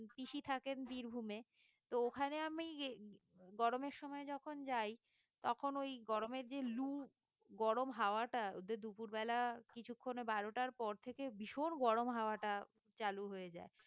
পিসি থাকেন বীরভূমে তো ওখানে আমি গরমের সময় যখন যায় তখন ঐ গরমের যে লু গরম হাওয়াটা ওদের দুপুর বেলা কিছুক্ষণ বারোটার পর থেকে ভীষণ গরম হওয়াটা চালু হয়ে যায়